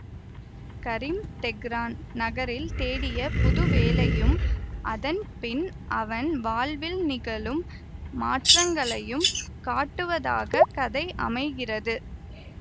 கரீம் Tehran நகரில் தேடிய புது வேலையும் அதன் பின் அவன் வாழ்வில் நிகழும் மாற்றங்களையும் காட்டுவதாகக் கதை அமைகிறது